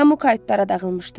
Hamı qayıqlara dağılmışdı.